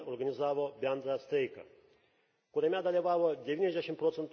d. organizavo bendrą streiką, kuriame dalyvavo 90 proc.